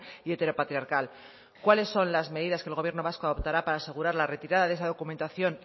y heteropatriarcal cuáles son las medidas que el gobierno vasco adoptará para asegurar la retirada de esa documentación